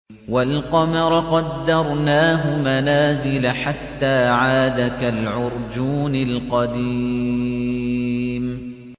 وَالْقَمَرَ قَدَّرْنَاهُ مَنَازِلَ حَتَّىٰ عَادَ كَالْعُرْجُونِ الْقَدِيمِ